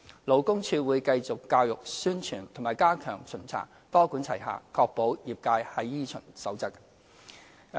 勞工處會繼續教育、宣傳和加強巡查，多管齊下確保業界依循《守則》。